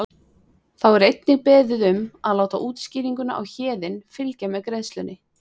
Þá er einnig beðið um að láta útskýringuna Héðinn fylgja með greiðslunni.